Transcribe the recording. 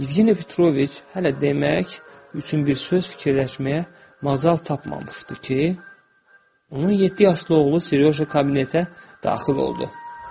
Yevgeni Petroviç hələ demək üçün bir söz fikirləşməyə macal tapmamışdı ki, onun yeddi yaşlı oğlu Siryoja kabinetə daxil oldu.